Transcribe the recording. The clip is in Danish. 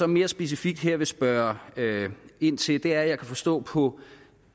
mere specifikt vil spørge ind til er at jeg kan forstå på